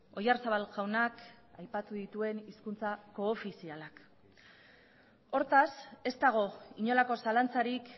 oyarzabal jaunak aipatu dituen hizkuntza koofizialak hortaz ez dago inolako zalantzarik